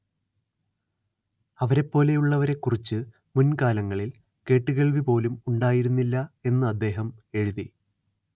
അവരെപ്പോലെയുള്ളവരെക്കുറിച്ച് മുൻകാലങ്ങളിൽ കേട്ടുകേൾവി പോലും ഉണ്ടായിരുന്നില്ല എന്ന് അദ്ദേഹം എഴുതി